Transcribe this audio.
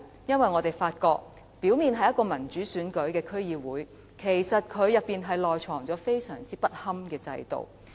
因為我們發現這個表面上由民主選舉產生的區議會，內藏着相當不堪的制度。